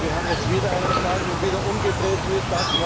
Wir haben jetzt wieder einen Fall, wo die Reihenfolge umgedreht wird.